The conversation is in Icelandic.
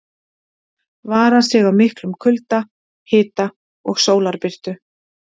Vara sig á miklum kulda, hita og sólarbirtu.